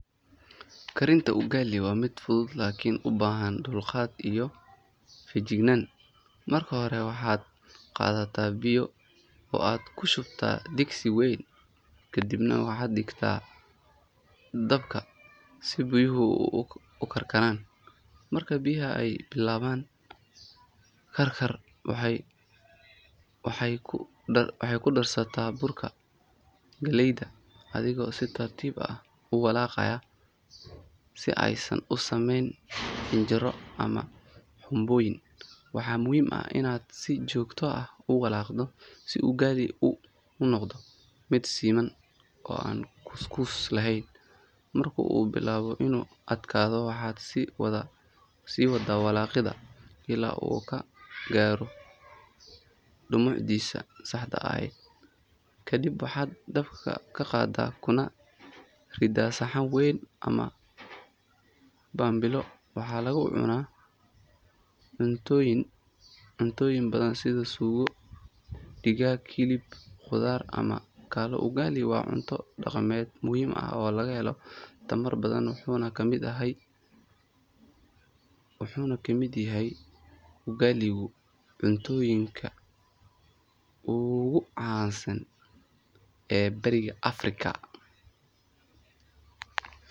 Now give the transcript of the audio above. Karinta Ugali waa mid fudud Lakini ubaahan dulqaad iyo fejignaan marka hore waaxa qadaata biyo iyo oo aad ku shubta digsi weyn kadibna diigta dabka si biyuhu u karkaran marke biyiha bilawan karkar waxey ku darsata burka galeyda adhigo si tartiba u walaqayo si aaysan usaameyn ama hinjaaro ama hubuyin waaxa waaina si joogta ah uwalaqda Ugali unoqdo mid simaan oo aan kuskus lahen marka ubilawo inu adkaadho waxa siwaada walaqiida ila u kagaaro dumucdiisa saaxda aheed kadib waaxa dabka ka qaada kuna riida saxan weyn ama waaxan baabiilo waaxa lagu cuna cuntoyin baadan sidha sugo digaga, hilib, qudaar ama Ugali waa cunto daqamed muhim oo laga helo mar badaan waxuna ka mid yaaha Ugali dho cuntuyin ugu caansan ee bariga Africa